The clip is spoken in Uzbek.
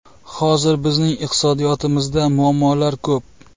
Hozir bizning iqtisodiyotimizda muammolar ko‘p.